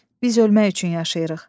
Biz ölmək üçün yaşayırıq.